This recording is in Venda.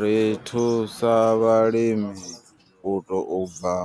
Ri thusa vhalimi u tou bva